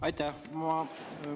Aitäh!